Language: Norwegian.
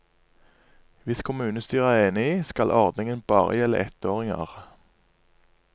Hvis kommunestyret er enig, skal ordningen bare gjelde ettåringer.